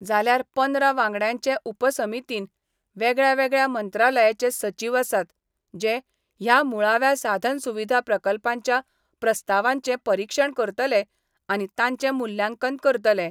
जाल्यार पंदरा वांगड्यांचे उपसमितीन वेगळ्यावेगळ्या मंत्रालयाचे सचीव आसात जे ह्या मुळाव्या साधन सुविधा प्रकल्पांच्या प्रस्तावांचे परिक्षण करतले आनी तांचे मुल्यांकन करतले.